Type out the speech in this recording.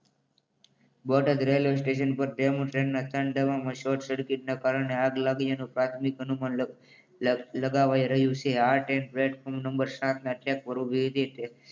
Botad railway station પર demo ટ્રેનના ત્રણ ડબ્બામાં શોર્ટ સર્કિટના કારણે આગ લાગી એનું તાર્કિક અનુમાન લગાવાઇ રહ્યું છે. આ ટ્રેન પ્લેટફોર્મ નંબર સાતના ટ્રેક પર ઉભી રહી હતી.